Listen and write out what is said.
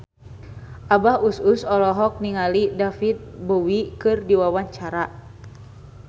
Abah Us Us olohok ningali David Bowie keur diwawancara